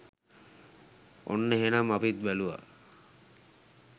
ඔන්න එහනම් අපිත් බැලුවා